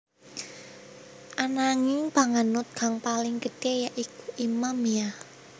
Ananging panganut kang paling gedhé ya iku Imamiyah